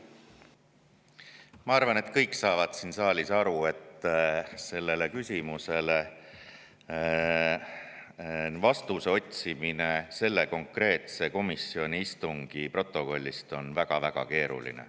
Ma arvan, et kõik saavad siin saalis aru, et otsida sellele küsimusele vastust selle konkreetse istungi protokollist on väga-väga keeruline.